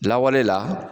Lawale la